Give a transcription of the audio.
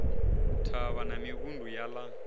thavha na mivhundu ya ḽa